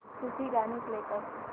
सूफी गाणी प्ले कर